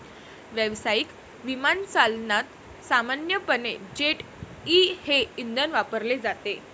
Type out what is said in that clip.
व्यावसायिक विमानचालनात सामान्यपणे जेट ई हे इंधन वापरले जाते.